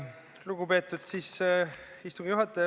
Lugupeetud istungi juhataja!